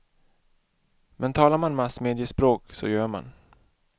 Men talar man massmediaspråk så gör man.